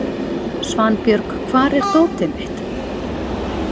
Svanbjörg, hvar er dótið mitt?